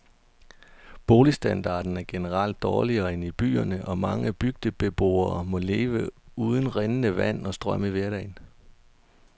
Boligstandarden er generelt dårligere end i byerne, og mange bygdebeboere må leve uden rindende vand og strøm i hverdagen.